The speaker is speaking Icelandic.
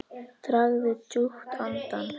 Dragðu djúpt andann!